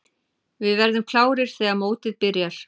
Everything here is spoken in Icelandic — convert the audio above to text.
Við verðum klárir þegar mótið byrjar.